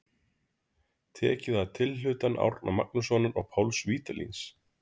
Tekið að tilhlutan Árna Magnússonar og Páls Vídalíns.